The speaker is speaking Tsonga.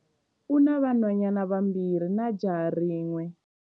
U na vanhwanyana vambirhi na jaha rin'we.